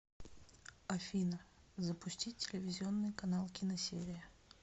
афина запустить телевизионный канал киносерия